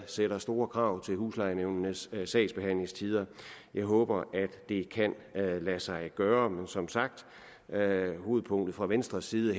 stiller store krav til huslejenævnenes sagsbehandlingstider jeg håber at det kan lade sig gøre men som sagt er er hovedpunktet fra venstres side